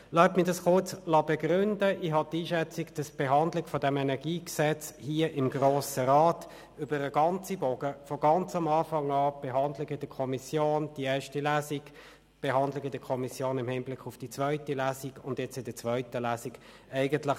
Meines Erachtens war die Behandlung dieses KEnG im Grossen Rat während der ganzen Dauer als Behandlung einer Gesetzesvorlage mustergültig: von der ersten Behandlung in der Kommission über die erste Lesung im Rat, bis hin zur Behandlung in der Kommission im Hinblick auf die zweite Lesung und bis jetzt, während der zweiten Lesung im Rat.